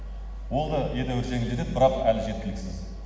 ол да едәуір жеңілдетеді бірақ әлі жеткіліксіз